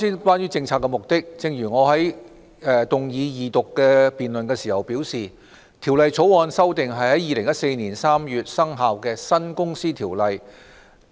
關於政策目的，正如我動議二讀辯論時表示，《條例草案》旨在修訂在2014年3月生效的新《公司條例》。